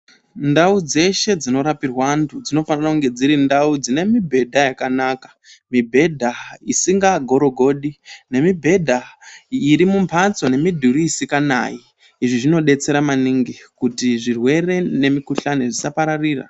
Ndau dzeshe dzinorapirwa antu dzinofana kunge dzirindau dzine mibhedha yakanaka. Mibhedha isinga gorogodi, nemibhedha irimumhatso nemidhuri isikanayi. izvi zvinobetsera maningi kuti zvirwere nemukuhlani zvisapararira.